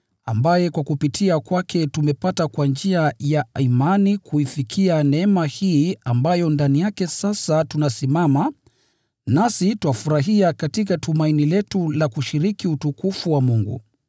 ambaye kwa kupitia kwake tumepata kwa njia ya imani kuifikia neema hii ambayo ndani yake sasa tunasimama, nasi twafurahia katika tumaini letu la kushiriki utukufu wa Mungu.